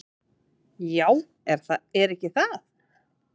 """Já, er ekki það?"""